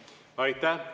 Aitäh!